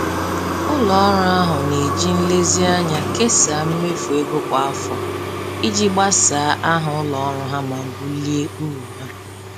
Ụlọ ọrụ ahụ na-eji nlezianya kesaa mmefu ego kwa afọ iji gbasaa aha ụlọ ọrụ ha ma bulie uru ha